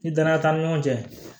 Ni danaya t'an ni ɲɔgɔn cɛ